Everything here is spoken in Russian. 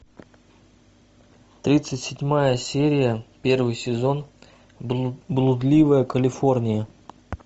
тридцать седьмая серия первый сезон блудливая калифорния